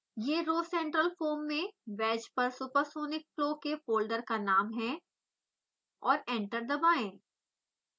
यह rhocentralfoam में wedge पर सुपरसॉनिक फ्लो के फोल्डर का नाम है और एंटर दबाएं